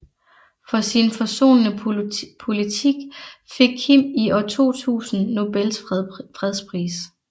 For sin forsonende politik fik Kim i år 2000 Nobels fredspris